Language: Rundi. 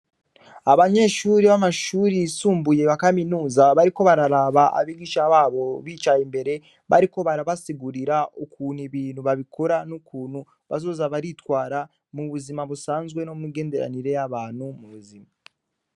Abanyeshuri bamashuri yisumbuye ya kaminuza, bariko bararaba abigisha babo bicaye imbere bariko barabisigura ukuntu Ibintu babikora , n'ukuntu bazoza baritwara mubuzima busanzwe no mumigenderanire y'abantu mubuzima.